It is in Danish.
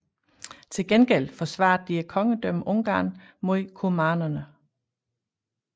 Til gengæld forsvarede de kongedømmet Ungarn mod kumanerne